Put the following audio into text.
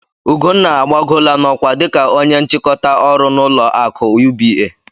Ugonna agbagoola n'ọkwa dika ónye nchịkọta ọrụ n'ụlọ akụ UBA.